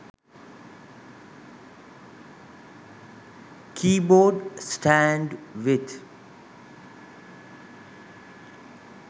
keybord stand with